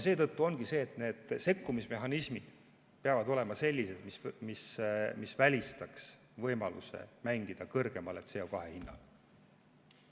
Seetõttu ongi nii, et sekkumismehhanismid peavad olema sellised, et nad välistaksid võimaluse mängida kõrgemale CO2 hinnale.